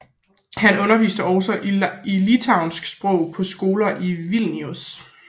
Han underviste også i litauisk sprog på skoler i Vilnius